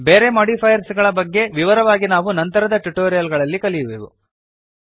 ಬೇರೆ ಮೋಡಿಫೈಯರ್ಸ್ ಗಳ ಬಗೆಗೆ ವಿವರವಾಗಿ ನಾವು ನಂತರದ ಟ್ಯುಟೋರಿಯಲ್ ಗಳಲ್ಲಿ ಕಲಿಯುವೆವು